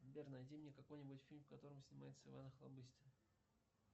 сбер найди мне какой нибудь фильм в котором снимается иван охлобыстин